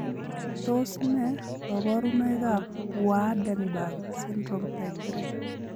Tos nee koborunoikab Waardenburg syndrome type 3?